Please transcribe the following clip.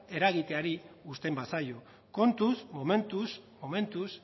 eragiteari uzten bazaio kontuz momentuz momentuz